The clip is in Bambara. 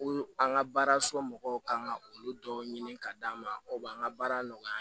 Ko an ka baara so mɔgɔw kan ka olu dɔw ɲini ka d'an ma o b'an ka baara nɔgɔya